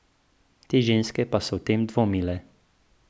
Te ženske pa so o tem dvomile.